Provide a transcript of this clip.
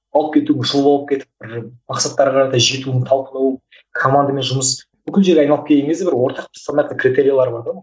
алып кету жұлып алып кетіп бір мақсаттарға қарай жетуін талқылау командамен жұмыс бүкіл жер айналып келген кезде бір ортақ стандарттың критериялары бар ғой